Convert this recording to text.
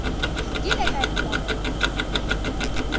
ke ile ka elelwa gore